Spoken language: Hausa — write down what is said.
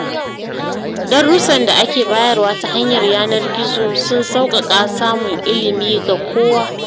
Darussan da ake bayarwa ta yanar gizo sun sauƙaƙa samun ilimi ga kowa.